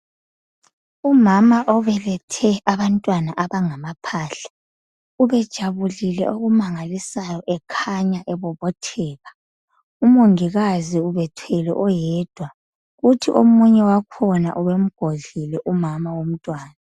Umama obelethe abantwana abangamaphahla. Ubejabulile okumangalisayo ekhanya ebobotheka. Umongikazi ubethwele oyedwa kuthi omunye wakhona ubemgodlile umama womntwana.